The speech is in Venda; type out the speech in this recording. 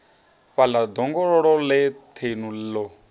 fhaḽa ḓongololo ḽe thenu ḽo